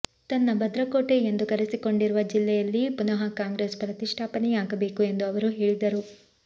ತನ್ನ ಭದ್ರಕೋಟೆ ಎಂದು ಕರೆಸಿಕೊಂಡಿರುವ ಜಿಲ್ಲೆಯಲ್ಲಿ ಪುನಃ ಕಾಂಗ್ರೆಸ್ ಪ್ರತಿಷ್ಠಾಪನೆಯಾಗಬೇಕು ಎಂದು ಅವರು ಹೇಳಿದರು